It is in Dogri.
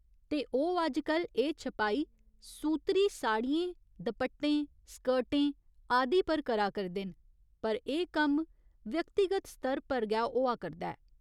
ते ओह् अजकल एह् छपाई सूतरी साड़ियें, दपट्टे, स्कर्टें आदि पर बी करा करदे न, पर एह् कम्म व्यक्तिगत स्तर पर गै होआ करदा ऐ।